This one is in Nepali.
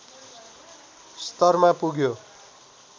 स्तरमा पुग्यो